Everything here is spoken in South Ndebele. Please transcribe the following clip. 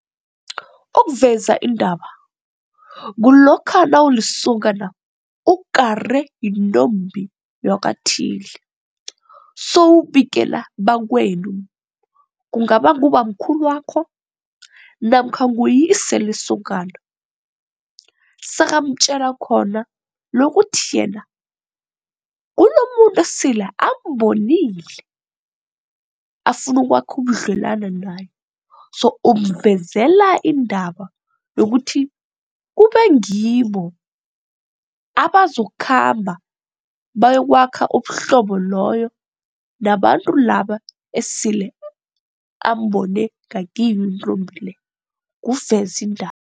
Ukuveza indaba kulokha nawulisokana ukare yintombi yakwathile sewubikela bakwenu kungaba ngubamkhulwakho namkha nguyise lesokana. Sekamtjela khona lokuthi yena unomuntu esela ambonile afuna ukwakha ubudlelwana naye so umvezela indaba yokuthi kube ngibo abazokhamba bayokwakha ubuhlobo loyo nabantu laba esele ambone ngakiyo intombi le kuvezindaba.